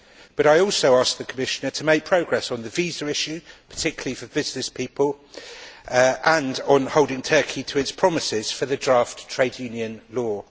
But I also ask the Commissioner to make progress on the visa issue, particularly for businesspeople, and on holding Turkey to its promises for the draft trade union law.